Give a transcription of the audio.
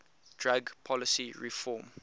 drug policy reform